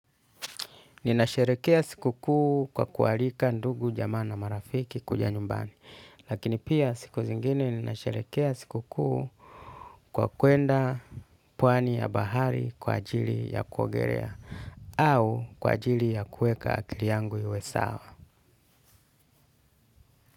Ninasherekea siku kuu kwa kuwalika ndugu jamaa na marafiki kuja nyumbani, lakini pia siku zingine ninasherehekea siku kuu kwa kuenda pwani ya bahari kwa ajili ya kuogelea au kwa ajili ya kuweka akili yangu iwe sawa.